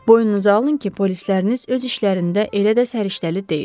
Boynunuza alın ki, polisləriniz öz işlərində elə də səriştəli deyil.